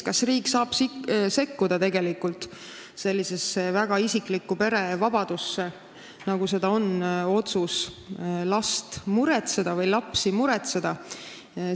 Kas riik saab tegelikult sekkuda sellisesse väga isiklikku pere vabadusse, nagu seda on otsus last või lapsi muretseda?